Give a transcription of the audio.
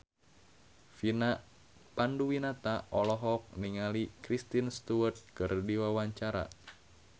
Vina Panduwinata olohok ningali Kristen Stewart keur diwawancara